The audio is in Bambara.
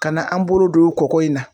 Kana na an bolo don kɔkɔ in na.